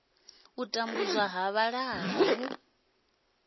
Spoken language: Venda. u tambudzwa ha vhalala hu